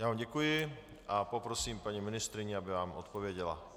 Já vám děkuji a poprosím paní ministryni, aby vám odpověděla.